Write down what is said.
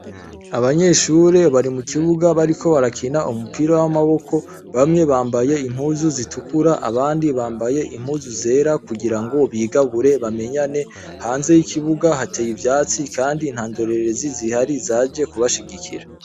Abanyeshure bari mu kibuga bariko barakina umupira w'amaboko bamwe bambaye impuzu zitukura abandi bambaye impuzu zera kugira ngo bigabure bamenyane, hanze y'ikibuga hateye ivyatsi, kandi nta ndorerezi zihari zaje kubashigikira.